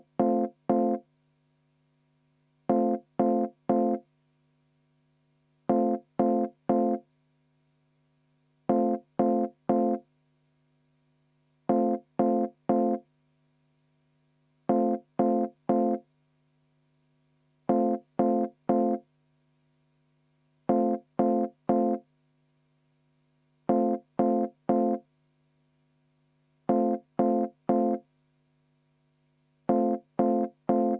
Vaheaeg kümme minutit.